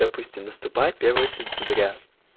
допустим наступает первое сентября